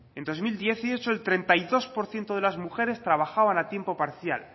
en dos mil dieciocho el treinta y dos por ciento de las mujeres trabajaban a tiempo parcial